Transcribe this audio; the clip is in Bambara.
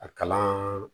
A kalan